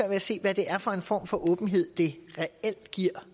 at se hvad det er for en form for åbenhed det reelt giver